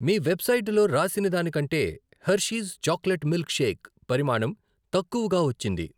మీ వెబ్సైటులో రాసినదానికంటేహెర్షీస్ chocolate milk shake పరిమాణం తక్కువగా వచ్చింది.